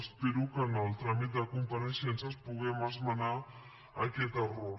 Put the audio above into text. espero que en el tràmit de compareixences puguem esmenar aquest error